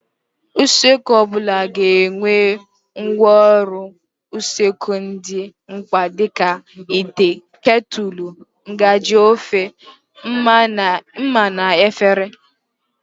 Usekwu ọbụla ga-enwe ngwaọrụ usekwu dị mkpa dịka: ite, ketụlụ, ngaji ofe, ḿmà na efere.